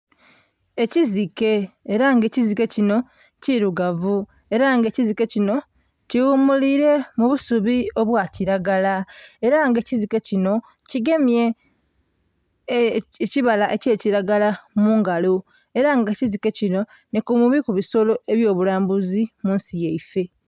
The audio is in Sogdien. Ekiziike era nga ekiziike kinho kirugavu era nga ekiziike kinho kighumulile mu busubi obwa kilagala era nga ekiziike kinho kigemye ekibala ekya kilagala mu ngalo era nga ekiziike kinho nhi ku bimu ku bisolo ebyo bulambuzi munsi yaifee.